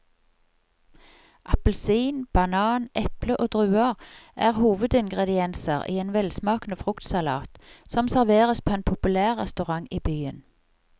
Appelsin, banan, eple og druer er hovedingredienser i en velsmakende fruktsalat som serveres på en populær restaurant i byen.